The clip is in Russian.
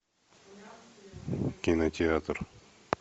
кинотеатр